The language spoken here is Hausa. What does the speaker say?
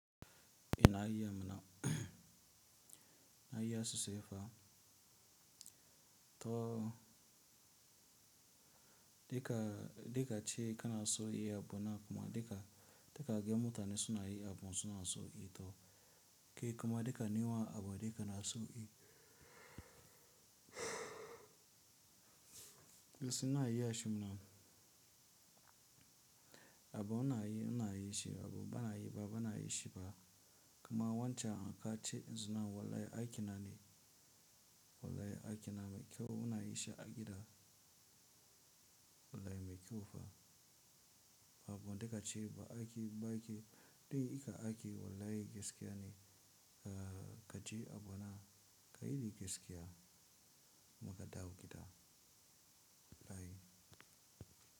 Ina yi amana, na yi asusu yafa to, dika, dika ce kana so yi abu na kuma dika, dika ga mutane suna yi abun suna so yi to, ke kuma dika nima abu dika na so yi. Wasu na yi ashe mana abu na yi, na yi shi abu ba na yi ba, ba na yi shi ba. Kuma wancan an ka ce izinan wallahi aiki na ne, wallahi aiki na mai kyau, una yi shi a gida, wallahi mai kyau fa. Abu dika ce ba aiki ba aiki, dai ka aiki wallahi gaskiya ne, ka, ka je abu na, ka yi gaskiya, muka dauki ta wallahi.